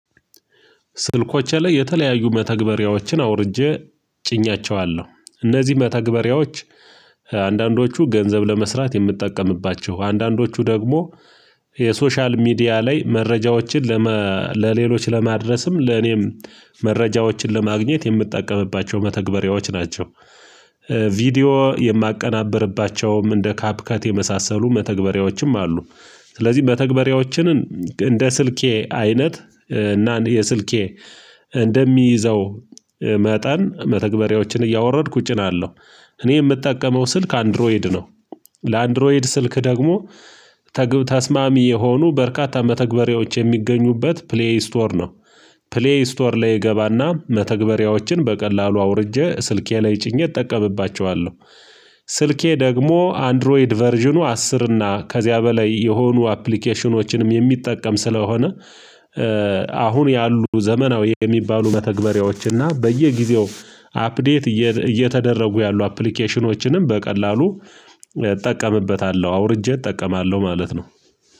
ስልኮቼ ላይ የተለያዩ መተግበሪያዎችን አውርጄ ጭኛቸዋለሁ እነዚህ መተግበሪያዎች አንዳንዶቹ ገንዘብ ለመስራት የምጠቀምባቸው አንዳንዶቹ ደግሞ የሶሻል ሚዲያ ላይ መረጃዎችን ለሌሎች ለማድረስም ለኔም መረጃዎችን ለማግኘት የምጠቀምባቸው መተግበሪያዎች ናቸው። ቪዲዮ የማቀናበርባቸውም እንደ ካፕከት የመሳሰሉ መተግበሪያዎችም አሉ። ስለዚህ መተግበሪያዎችን እንደ ስልኬ አይነት እና የስልኬ እንደሚይዘው መጠን መተግበሪያዎችን እያወረድኩ እጭናለሁ። እኔ ምጠቀመው ስልክ አንድሮይድ ነው። ለአንድሮይድ ስልክ ደግሞ ተግብ ተስማሚ የሆኑ በርካታ መተግበሪያዎች የሚገኙበት ፕሌይ ስቶር ነው። ፕሌይ ስቶር ላይ እገባና መተግበሪያዎችን በቀላሉ አውርጄ ስልኬ ላይ ጭኜ እጠቀምባቸዋለሁ። ስልኬ ደግሞ አንድሮይድ ቨርዥኑ አስር እና ከዚያ በላይ የሆኑ አፕሊኬሽኖችንም የሚጠቀም ስለሆነ። አሁን ያሉ ዘመናዊ የሚባሉ መተግበሪያዎችና በየጊዜው አፕዴት እየተደረጉ ያሉ አፕሊኬሽኖችንም በቀላሉ እጠቀምበታለሁ አውርጄ እጠቀማለሁ ማለት ነው